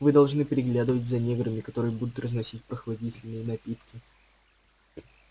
вы должны приглядывать за неграми которые будут разносить прохладительные напитки